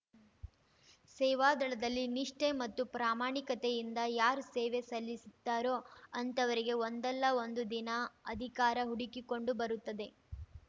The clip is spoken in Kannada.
ಸೇವಾದಳದಲ್ಲಿ ನಿಷ್ಠೆ ಮತ್ತು ಪ್ರಾಮಾಣಿಕತೆಯಿಂದ ಯಾರು ಸೇವೆ ಸಲ್ಲಿಸುತ್ತಾರೋ ಅಂಥವರಿಗೆ ಒಂದಲ್ಲ ಒಂದು ದಿನ ಅಧಿಕಾರ ಹುಡುಕಿಕೊಂಡು ಬರುತ್ತದೆ